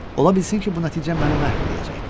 Ola bilsin ki, bu nəticə məni məhv eləyəcəkdi.